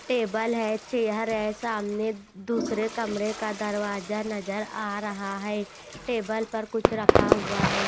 Table है chair है सामने दूसरे कमरे का दरवाजा नजर आ रहा है टेबल पर कुछ रखा हुआ है।